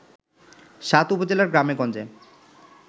সাত উপজেলার গ্রামে-গঞ্জে